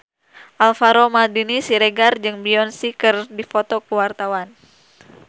Alvaro Maldini Siregar jeung Beyonce keur dipoto ku wartawan